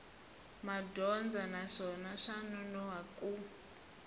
madyondza naswona swa nonoha ku